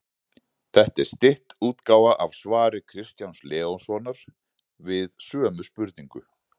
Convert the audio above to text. Þetta er stytt útgáfa af svari Kristjáns Leóssonar við sömu spurningu.